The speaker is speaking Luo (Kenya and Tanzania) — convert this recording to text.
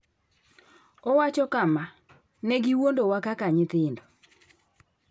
Owacho kama: “Ne giwuondowa kaka nyithindo.”